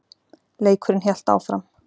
Leikurinn hélt áfram.